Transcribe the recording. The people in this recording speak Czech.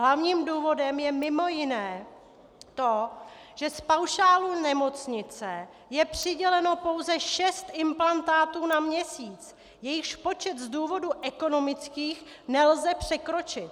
Hlavním důvodem je mimo jiné to, že z paušálu nemocnice je přiděleno pouze šest implantátů na měsíc, jejichž počet z důvodů ekonomických nelze překročit.